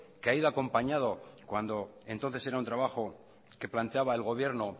que ha ido acompañado cuando entonces era un trabajo que planteaba el gobierno